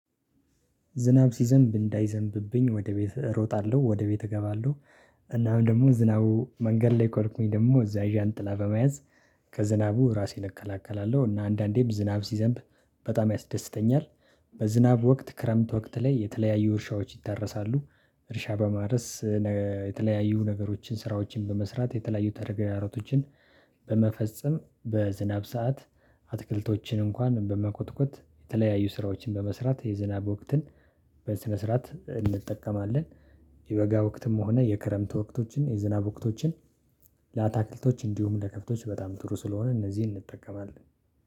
ዝናብ ሲዘንብ እንዳይዘንብብኝ ወደ ቤት እሮጣለሁ ወደ ቤት እገባለሁ። እናም ደግሞ ዝናቡ መንገድ ላይ ከሆንኩኝ ደግሞ እዛ ዣንጥላ በመያዝ ከዝናቡ ራሴን እከላከላለሁ። እና አንዳንዴም ዝናብ ሲዘንብ በጣም ያስደስተኛል። በዝናብ ወቅት ክረምት ወቅት ላይ የተለያዩ እርሻዎች ይታረሳሉ። እርሻ በማረስ የተለያዩ ነገሮችን ስራዎችን በመስራት የተለያዩ ተግዳሮቶችን በመፈጸም በዝናብ ሰዓት አትክልቶችን እንኳን በመኮትኮት የተለያዩ ስራዎችን በመስራት የዝናብ ወቅትን በስነ ስርዓት እንጠቀማለን። የበጋ ወቅትም ሆነ የክረምት ወቅቶችን የዝናብ ወቅቶችን ለአታክልቶች እንዲሁም ለከብቶች በጣም ጥሩ ስለሆነ እነዚህን እንጠቀማለን